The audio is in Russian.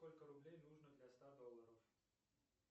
сколько рублей нужно для ста долларов